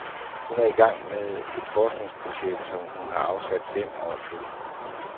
Hun er i gang med et forskningsprojekt, som hun har afsat fem år til.